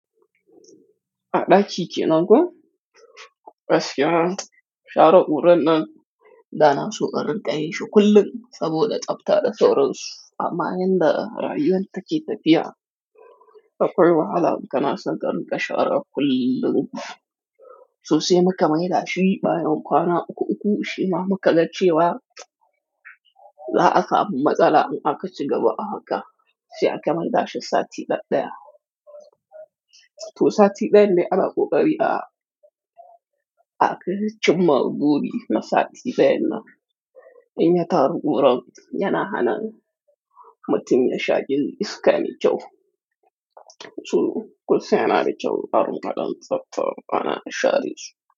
Aɗa daki kenan na ko? Bas ya, shaara ɓura nan da na su ɓarin ɓaye shu kullum saboda ɗabta da tooro su. Ama hin da raayiwal take tafiya. Baqol wa'alaam kana san garin ka shaara kullum. Soose muka maidaashi baayon kwana uku uku shi ma muka ga cheewa la'a kaab matsala in aka ci gaba a haka. Shi aka maidaashi saati ɗaɗɗaya. To saati ɗaya ne ana kokari a aka ci mma goobi na saati ɗaya na in ya taru kuram yana hana mutum ya shaakin iska ni kyaw. To kunsan yana da jawu naaru kaɗan tsafta ana shaari su.